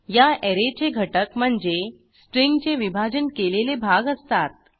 या ऍरेचे घटक म्हणजे स्ट्रिंगचे विभाजन केलेले भाग असतात